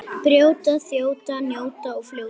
Brjóta, þjóta, njóta og fljóta.